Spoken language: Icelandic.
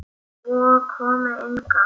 Svo kom Inga.